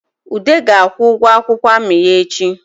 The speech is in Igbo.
Ude ga-akwụ ụgụ akwụkwọ amị ya echi